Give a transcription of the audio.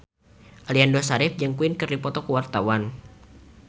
Aliando Syarif jeung Queen keur dipoto ku wartawan